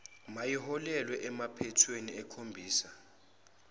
mayiholele empathweni ekhombisa